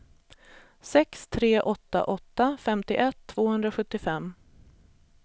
sex tre åtta åtta femtioett tvåhundrasjuttiofem